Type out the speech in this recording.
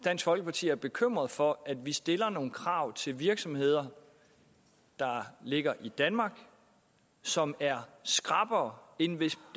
dansk folkeparti er bekymret for at vi stiller nogle krav til virksomheder der ligger i danmark som er skrappere end hvis